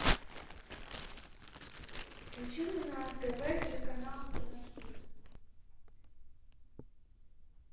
включи мне на тв телеканал кинохит